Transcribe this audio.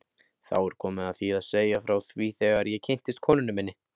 Þá er komið að því að segja frá því þegar ég kynntist konunni minni.